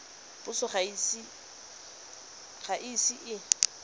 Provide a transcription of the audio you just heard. puso ga e ise e